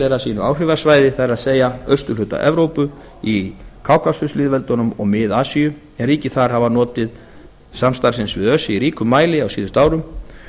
tilheyra sínu áhrifasvæði það er austurhluta evrópu í kákasuslýðveldunum og mið asíu en ríki þar hafa notið samstarfsins við öse í ríkum mæli á síðustu árum